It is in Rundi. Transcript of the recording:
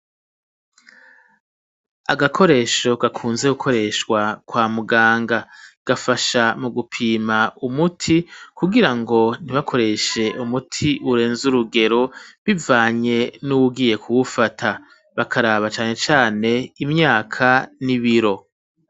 Agakoresho gakunze gukoreshwa kwa muganga gafasha mu gupima umuti kugira ngo ntibakoreshe umuti urenze urugero bivanye n'ubugiye kubufata bakaraba cane cane imyaka n'ibiro.